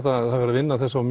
að vinna að þessu á